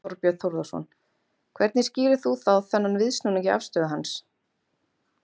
Þorbjörn Þórðarson: Hvernig skýrir þú þá þennan viðsnúning í afstöðu hans?